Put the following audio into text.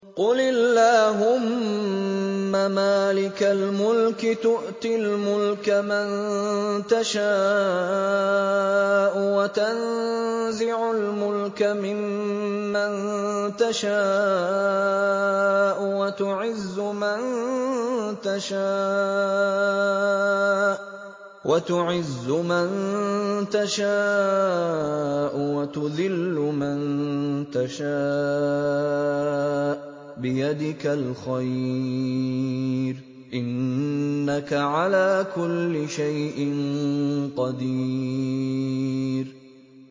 قُلِ اللَّهُمَّ مَالِكَ الْمُلْكِ تُؤْتِي الْمُلْكَ مَن تَشَاءُ وَتَنزِعُ الْمُلْكَ مِمَّن تَشَاءُ وَتُعِزُّ مَن تَشَاءُ وَتُذِلُّ مَن تَشَاءُ ۖ بِيَدِكَ الْخَيْرُ ۖ إِنَّكَ عَلَىٰ كُلِّ شَيْءٍ قَدِيرٌ